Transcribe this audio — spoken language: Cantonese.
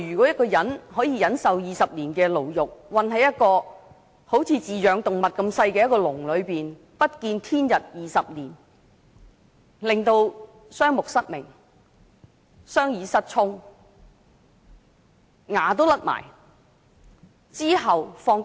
一個人可以忍受20年牢獄，被困在好像飼養動物般細小的籠中，不見天日20年，以致雙目失明，雙耳失聰，牙齒脫落，其後獲釋。